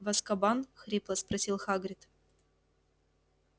в азкабан хрипло спросил хагрид